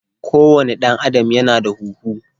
ko wane dan Adam Ya na da huhu.